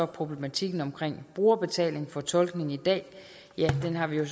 problematikken om brugerbetaling for tolkning i dag har vi jo